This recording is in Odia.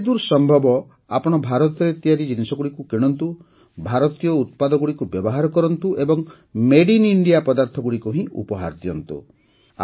ଯେତେଦୂର ସମ୍ଭବ ଆପଣ ଭାରତରେ ତିଆରି ଜିନିଷଗୁଡ଼ିକ କିଣନ୍ତୁ ଭାରତୀୟ ଉତ୍ପାଦଗୁଡ଼ିକୁ ବ୍ୟବହାର କରନ୍ତୁ ଏବଂ ମଦେ ଆଇଏନ ଇଣ୍ଡିଆ ପଦାର୍ଥଗୁଡ଼ିକ ହିଁ ଉପହାର ଦିଅନ୍ତୁ